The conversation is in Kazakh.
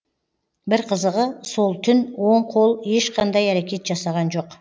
бір қызығы сол түн оң қол ешқандай әрекет жасаған жоқ